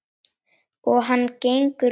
Og hann gengur laus!